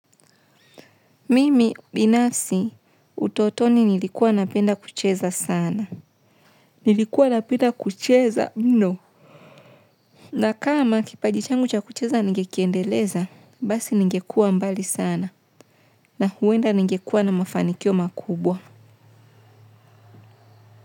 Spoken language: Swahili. Mimi binafsi utotoni nilikuwa napenda kucheza sana. Nilikuwa napenda kucheza mno. Na kama kipaji changu cha kucheza ningekiendeleza, basi ningekua mbali sana. Na huenda ningekuwa na mafanikio makubwa.